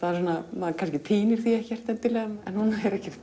maður kannski týnir því ekkert endilega en hún er ekkert